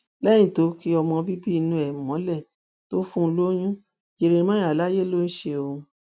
lẹyìn tó ki ọmọ bíbí inú ẹ mọlẹ tó fún un lóyún jeremiah láyè ló ń ṣe òun